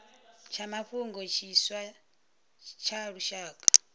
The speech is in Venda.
tsha mafhungo tshiswa tsha lushaka